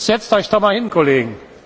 Setzt euch doch mal hin, Kollegen!